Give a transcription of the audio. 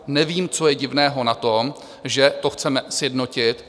Nevím, co je divného na tom, že to chceme sjednotit.